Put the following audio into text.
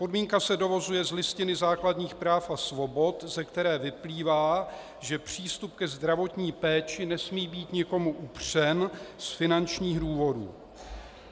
Podmínka se dovozuje z Listiny základních práv a svobod, ze které vyplývá, že přístup ke zdravotní péči nesmí být nikomu upřen z finančních důvodů.